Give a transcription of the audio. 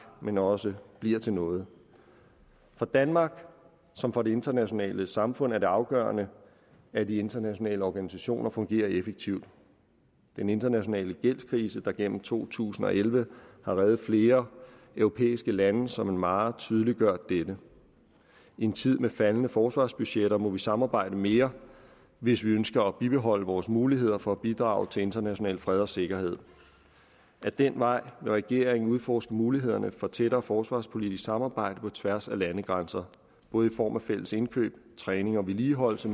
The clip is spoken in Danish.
men også bliver til noget for danmark som for det internationale samfund er det afgørende at de internationale organisationer fungerer effektivt den internationale gældskrise der gennem to tusind og elleve har redet flere europæiske lande som en mare tydeliggør dette i en tid med faldende forsvarsbudgetter må vi samarbejde mere hvis vi ønsker at bibeholde vores muligheder for at bidrage til international fred og sikkerhed ad den vej vil regeringen udforske mulighederne for tættere forsvarspolitisk samarbejde på tværs af landegrænser både i form af fælles indkøb træning og vedligeholdelse